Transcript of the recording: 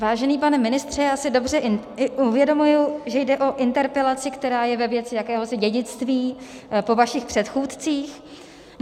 Vážený pane ministře, já si dobře uvědomuji, že jde o interpelaci, která je ve věci jakéhosi dědictví po vašich předchůdcích.